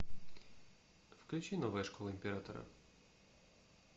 включи новая школа императора